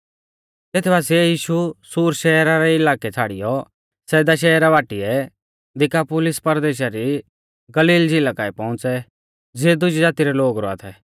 तेत बासिऐ यीशु सूर शहरा रै इलाकै छ़ाड़ियौ सैदा शहरा बाटीऐ दिकापुलिस परदेशा दी गलील झ़िला काऐ पौउंच़ै ज़िऐ दुजी ज़ाती रै लोग रौआ थै